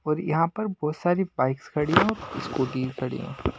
और यहां पर बहुत सारी बाइक्स खड़ी है और स्कूटी खड़ी है।